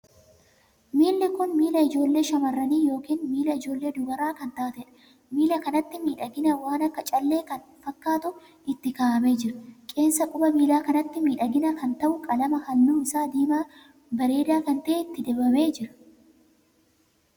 Miilli kun miilla ijoollee shamarranii ykn miilla ijoollee dubaraa kan taateedha. miilla kanatti miidhaginaa waan akka callee kan fakkaatu itti kaa'amee jira. qeensa quba miillaa kanatti miidhaginaa kan tahu qalama halluu isaa diimaa bareedaa kan tahe itti dibamee jira.